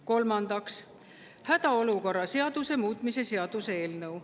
Kolmandaks, hädaolukorra seaduse muutmise seaduse eelnõu.